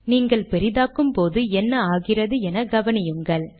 நீங்கள் பெரியதாக்கும் போது என்ன ஆகிறது என கவனியுங்கள்